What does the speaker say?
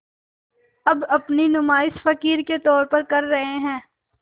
अब अपनी नुमाइश फ़क़ीर के तौर पर कर रहे हैं